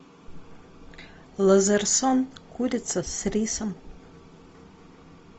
лазарсон курица с рисом